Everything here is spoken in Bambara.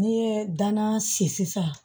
N'i ye danna si sisan